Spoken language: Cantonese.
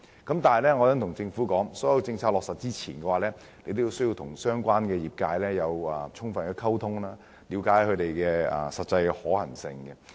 但是，我想對政府說，在落實任何政策前，政府需要與相關業界進行充分溝通，了解政策的實際可行性。